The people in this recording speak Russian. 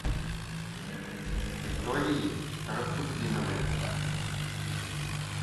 викторией шарафутдиновой